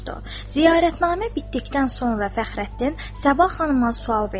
Ziyarətnamə bitdikdən sonra Fəxrəddin Səbah xanıma sual verdi.